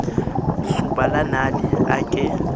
soba la nale a ke